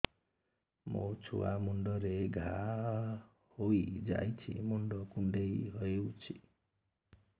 ମୋ ଛୁଆ ମୁଣ୍ଡରେ ଘାଆ ହୋଇଯାଇଛି ମୁଣ୍ଡ କୁଣ୍ଡେଇ ହେଉଛି